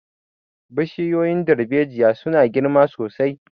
Bishiyoyin dalbejiya su na girma sosai